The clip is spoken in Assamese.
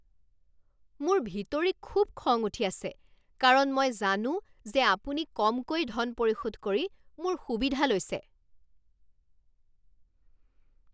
মোৰ ভিতৰি খুব খং উঠি আছে কাৰণ মই জানো যে আপুনি কমকৈ ধন পৰিশোধ কৰি মোৰ সুবিধা লৈছে।